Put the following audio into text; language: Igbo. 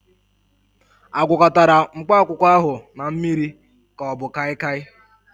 A gwakọtara mkpakwụkwọ ahụ na mmiri ka ọ bụ kaịkaị?